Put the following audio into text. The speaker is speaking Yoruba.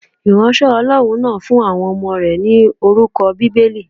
Ìránṣẹ́ Ọlọ́run náà fún àwọn ọmọ rẹ̀ ni orúkọ Bíbélì.